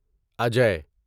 اجے